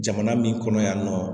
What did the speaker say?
Jamana min kɔnɔ yan nɔ